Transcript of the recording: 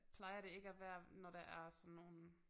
Plejer det ikke at være når der er sådan nogle